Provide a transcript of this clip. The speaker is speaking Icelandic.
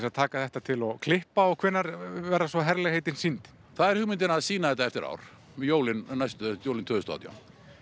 að taka þetta til og klippa hvenær verða svo herlegheitin sýnd það er hugmyndin að sýna þetta eftir ár um jólin jólin tvö þúsund og átján